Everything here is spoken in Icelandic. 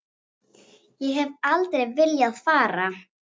Ég hef aldrei viljað fara.